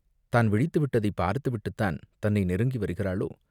தான் விழித்து விட்டதைப் பார்த்து விட்டுத்தான் தன்னை நெருங்கி வருகிறாளோ?